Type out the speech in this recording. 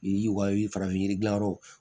I ka farafin yiri gilan yɔrɔ